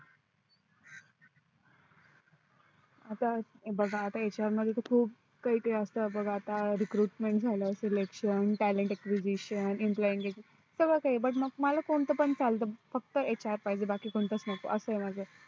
आता बघा आता HR मध्ये तर खूप काही असत आता बघा recruitmentselectiontalent iqyizition झाल सगळ काही but मला कोणत पण चालत फक्त HR पाहिजे बाकी कोणतच नको आस आहे माझ